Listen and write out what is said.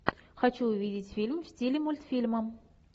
хочу увидеть фильм в стиле мультфильма